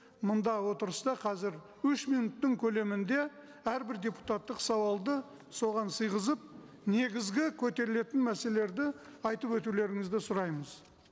мында отырыста қазір үш минуттың көлемінде әрбір депутаттық сауалды соған сиғызып негізгі көтерілетін мәселелерді айтып өтулеріңізді сұраймыз